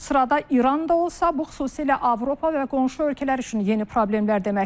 Sırada İran da olsa, bu xüsusilə Avropa və qonşu ölkələr üçün yeni problemlər deməkdir.